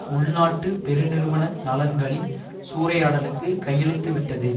உள் நாட்டு பெரு நிறுவன நலன்களின் சூறையாடலுக்கு கையளித்து விட்டது